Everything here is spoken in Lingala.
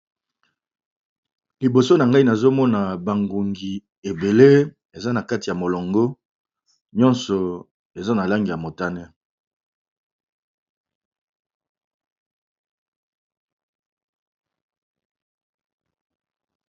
Liboso nangai nazomona ba ngongi ebele nyoso eza na kati ya molongo pe eza na ba langi ya motane.